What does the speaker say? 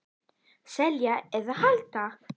Selja eða halda?